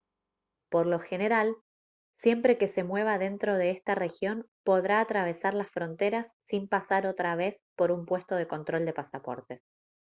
por lo general siempre que se mueva dentro de esta región podrá atravesar las fronteras sin pasar otra vez por un puesto de control de pasaportes